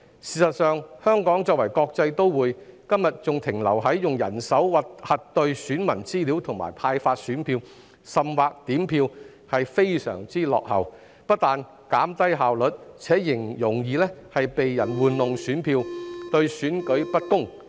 事實上，香港作為國際都會，今天還停留在用人手核對選民資料、派發選票甚或點票，是非常落後的，不單減低效率，而且容易被人玩弄選票，對選舉不公。